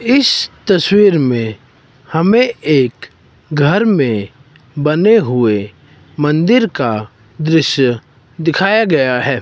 इस तस्वीर में हमें एक घर में बने हुए मंदिर का दृश्य दिखाया गया है।